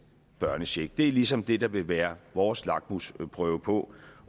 børnecheck det er ligesom det der vil være vores lakmusprøve på